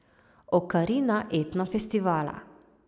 Okarina etno festivala.